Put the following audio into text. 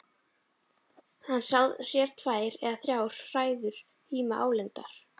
Hann sér tvær eða þrjár hræður híma álengdar.